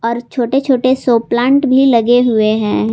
और छोटे छोटे सो प्लांट भी लगे हुए हैं।